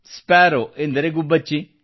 sparrow ಎಂದರೆ ಗುಬ್ಬಚ್ಚಿ